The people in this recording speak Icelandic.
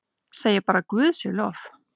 Segi bara guði sé lof.